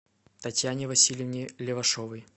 татьяне васильевне левашовой